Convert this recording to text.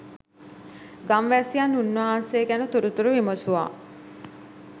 ගම්වැසියන් උන්වහන්සේ ගැන තොරතුරු විමසුවා.